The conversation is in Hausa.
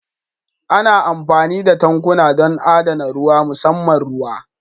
Ana amfani da tankuna don adana ruwa musamman ruwa